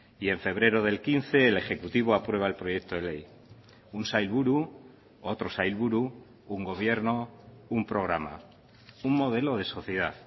y en febrero del quince el ejecutivo aprueba el proyecto de ley un sailburu otro sailburu un gobierno un programa un modelo de sociedad